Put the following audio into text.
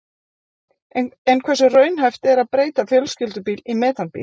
En hversu raunhæft er að breyta fjölskyldubíl í metanbíl?